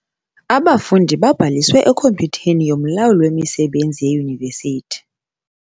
Abafundi babhaliswe ekhompyutheni yomlawuli wemisebenzi yeYunivesithi.